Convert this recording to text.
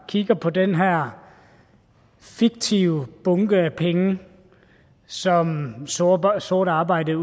kigger på den her fiktive bunke af penge som sort sort arbejde